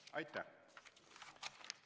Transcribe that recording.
Aitäh!